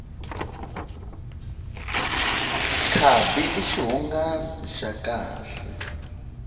khadi i xihungasi xa kahle